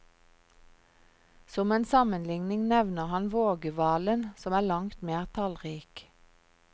Som en sammenligning nevner han vågehvalen som er langt mer tallrik.